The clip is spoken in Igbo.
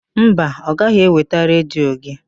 Mba, ọ gaghị eweta redio gị.